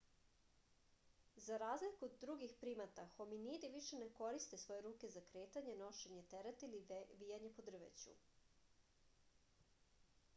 za razliku od drugih primata hominidi više ne koriste svoje ruke za kretanje nošenje tereta ili vijanje po drveću